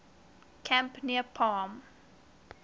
camp near palm